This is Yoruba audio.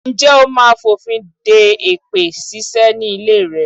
Ǹjẹ́ ó máa fònfin de èpè ṣíṣe ni ilé rẹ?